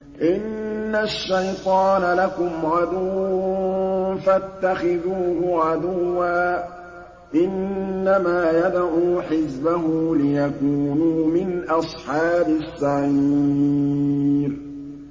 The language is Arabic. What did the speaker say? إِنَّ الشَّيْطَانَ لَكُمْ عَدُوٌّ فَاتَّخِذُوهُ عَدُوًّا ۚ إِنَّمَا يَدْعُو حِزْبَهُ لِيَكُونُوا مِنْ أَصْحَابِ السَّعِيرِ